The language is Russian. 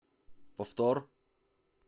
повтор